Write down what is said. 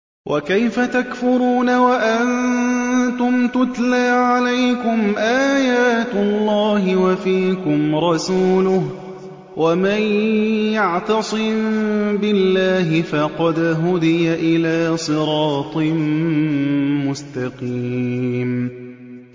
وَكَيْفَ تَكْفُرُونَ وَأَنتُمْ تُتْلَىٰ عَلَيْكُمْ آيَاتُ اللَّهِ وَفِيكُمْ رَسُولُهُ ۗ وَمَن يَعْتَصِم بِاللَّهِ فَقَدْ هُدِيَ إِلَىٰ صِرَاطٍ مُّسْتَقِيمٍ